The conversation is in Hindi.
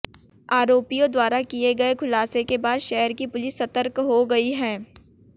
आरोपियों द्वारा किए गए खुलासे के बाद शहर की पुलिस सतर्क हो गई है